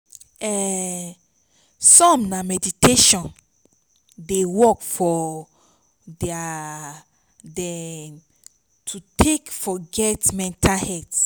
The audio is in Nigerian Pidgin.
um som na meditation dey work for dem to take forget mental health